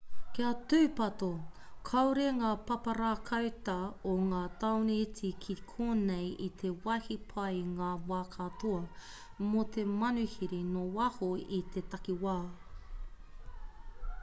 kia tūpato kāore ngā pāpara kauta o ngā tāone iti ki konei i te wāhi pai i ngā wā katoa mō te manuhiri nō waho i te takiwā